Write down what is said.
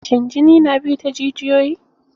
Shin jini na bi ne ta jijiyoyi?